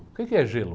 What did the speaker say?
O que é gelo?